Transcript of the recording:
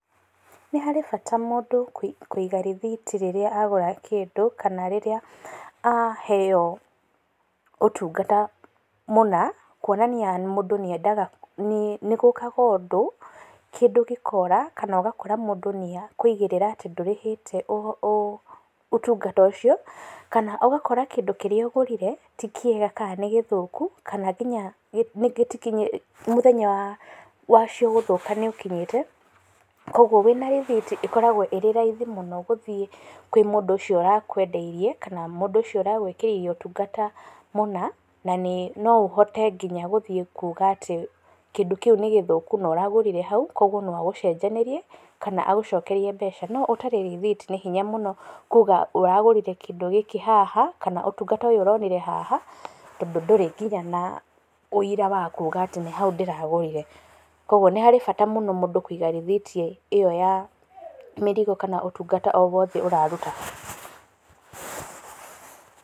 Nĩ harĩ bata mũndũ kũiga rĩthiti rĩrĩa agũra kĩndũ, kana rĩrĩa aheywo ũtungata mũna, kuonanaia mũndũ nĩendaga, nĩ gũkaga ũndũ, kĩndũ gĩkora, kana ũgakora atĩ mũndũ nĩ akuigĩrĩra ndũrĩhĩtee ũtungata ũcio, kana ũgakora atĩ ti kĩega kana nĩ gĩthũku, kana nginya rĩngĩ, mũthenya wacio gũthũka nĩũkinyĩte, kwoguo wĩna rĩthiti ĩkoragwo ĩrĩ raithi mũno gũthiĩ kũrĩ mũndũ ũcio ũrakwendeirie kana mũndũ ũcio ũragwĩkĩire ũtungata mũna, na no ũhote gũthiĩ nginya kuuga atĩ, kĩndũ kĩu nĩ gĩthũku na ũragũrire hau, kwoguo no agũcenjanĩrie, na agũcokerie mbeca. No ũtarĩ rĩthiti nĩ hinya mũno kuuga ũtungata ũyũ ũronire haha na ndũrĩ nginya na ũira wa kuga atĩ nĩ hau ndĩragũrire. Kwoguo nĩ harĩ bata mũno mũndũ kũiga rĩthiti ĩyo ya mĩrigo kana ũtungata o wothe ũraruta.